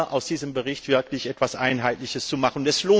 aus diesem Bericht wirklich etwas Einheitliches zu machen.